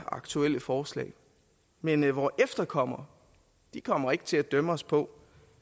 aktuelle forslag men vore efterkommere kommer ikke til at dømme os på